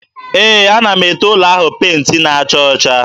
Ee, ana m ete ụlọ ahụ penti na-acha ọcha.